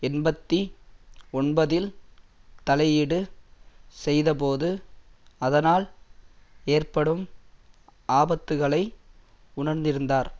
எண்பத்தி ஒன்பதில் தலையீடு செய்தபோது அதனால் ஏற்படும் ஆபத்துக்களை உணர்ந்திருந்தார்